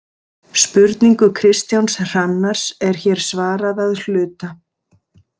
Spurningu Kristjáns Hrannars er hér svarað að hluta.